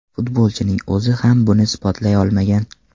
Futbolchining o‘zi ham buni isbotlay olmagan.